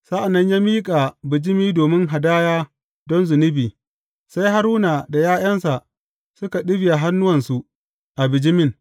Sa’an nan ya miƙa bijimi domin hadaya don zunubi, sai Haruna da ’ya’yansa suka ɗibiya hannuwansu a bijimin.